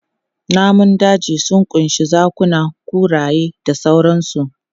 Namun daji sun ƙunshi zakuna, kuraye da sauransu.